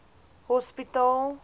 hospitaal